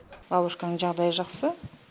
бабушканың жағдайы жақсы